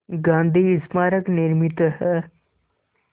गांधी स्मारक निर्मित है